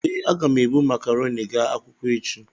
Ee, aga m ebu makarọnị gaa akwụkwọ echi.